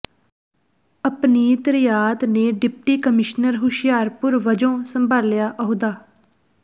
ਅਪਨੀਤ ਰਿਆਤ ਨੇ deputy commissioner Hoshiarpur ਵਜੋਂ ਸੰਭਾਲਿਆ ਅਹੁਦਾ